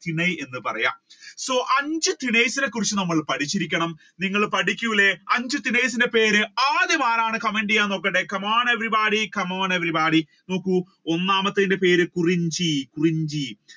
ചിണയ്യ് എന്ന് പറയുക so അഞ്ചു കുറിച്ചു നാം പഠിച്ചിരിക്കണം. നിങ്ങൾ പഠിക്കൂലെ അഞ്ച് പേര് ആദ്യം ആരാണ്? comment ചെയ്യുക എന്ന് നോക്കട്ടെ come on everybody come on everybody. ഒന്നാമത്തത്തിന്റെ പേര് കുറിഞ്ചി കുറിഞ്ചി